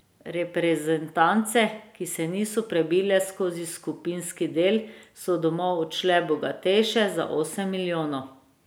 Reprezentance, ki se niso prebile skozi skupinski del, so domov odšle bogatejše za osem milijonov.